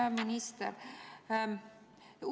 Hea minister!